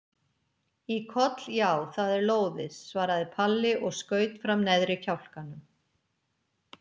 Í koll já, það er lóðið, svaraði Palli og skaut fram neðri kjálkanum.